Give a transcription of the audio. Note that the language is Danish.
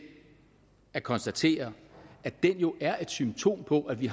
at konstatere at den jo er et symptom på at vi